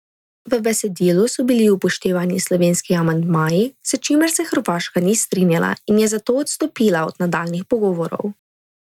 V besedilu so bili upoštevani slovenski amandmaji, s čimer se Hrvaška ni strinjala in je zato odstopila od nadaljnjih pogovorov.